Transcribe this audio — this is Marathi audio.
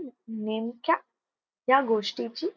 नेमक्या या गोष्टीची